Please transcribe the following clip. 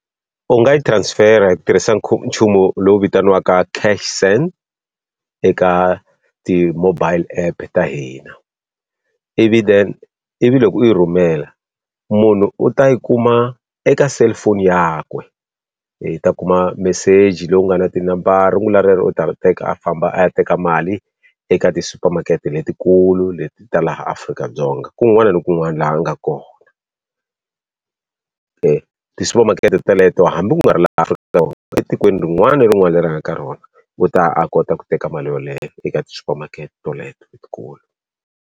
U nga yi transfer-a hi ku tirhisa nchumu lowu vitaniwaka cash send eka ti-mobile app ta hina. Ivi then ivi loko u yi rhumela munhu u ta yi kuma eka cellphone yakwe i ta kuma meseji lowu nga na tinambara. Rungula rero u ta teka a famba a ya teka mali eka tisupamakete letikulu leti ta laha Afrika-Dzonga kun'wana na kun'wana laha a nga kona. tisupamakete teleto hambi ku nga ri laha Afrika-Dzonga, etikweni rin'wana na rin'wana leri a nga ka rona, u ta ya a kota ku teka mali yoleyo eka tisupamakete teleto letikulu.